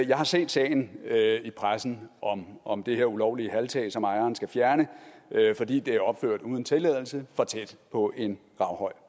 jeg har set sagen i pressen om om det her ulovlige halvtag som ejeren skal fjerne fordi det er opført uden tilladelse for tæt på en gravhøj